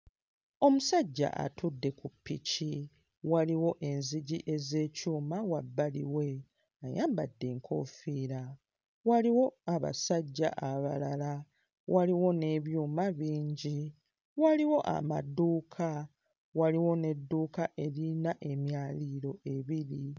Omusajja atudde ku ppiki, waliwo enzigi ez'ekyuma wabbali we, ayambadde enkoofiira, waliwo abasajja abalala, waliwo n'ebyuma bingi, waliwo amaduuka, waliwo n'edduuka eririna emyaliriro ebiri.